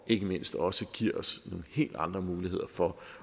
ikke mindst også give os nogle helt andre muligheder for